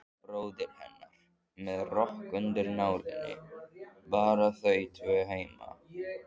Bróðir hennar með rokk undir nálinni, bara þau tvö heima.